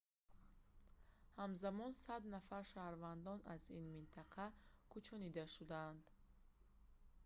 ҳамзамон 100 нафар шаҳрвандон аз ин минтақа кӯчонида шудаанд